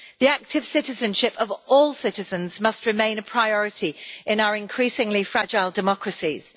The active citizenship of all citizens must remain a priority in our increasingly fragile democracies.